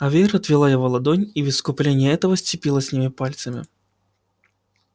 а вера отвела его ладонь и в искупление этого сцепилась с ними пальцами